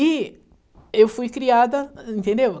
E eu fui criada, entendeu?